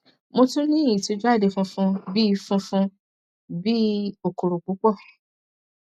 mo tún n ní ìtújáde funfun bí i funfun bí i kòkòrò púpọ